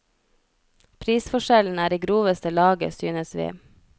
Prisforskjellen er i groveste laget, synes vi.